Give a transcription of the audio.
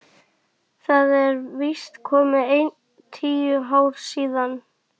Það eru víst komin ein tíu ár síðan.